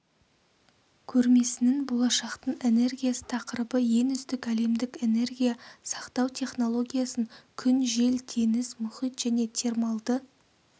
көрмесінің болашақтың энергиясы тақырыбы ең үздік әлемдік энергия сақтау технологиясын күн жел теңіз мұхит және термалды